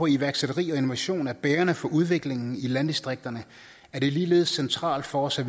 iværksætteri og innovation er bærende for udviklingen i landdistrikterne er det ligeledes centralt for os at